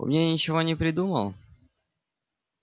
умнее ничего не придумал